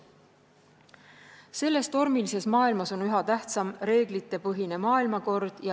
Selles tormilises maailmas on üha tähtsam reeglitepõhine maailmakord.